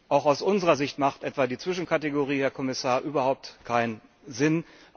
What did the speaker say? Auch aus unserer Sicht hat etwa die Zwischenkategorie, Herr Kommissar, überhaupt keinen Sinn.